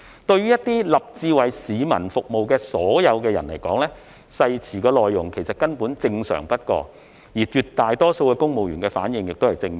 對於立志為市民服務的人來說，誓詞內容根本正常不過，而絕大多數公務員的反應也是正面的。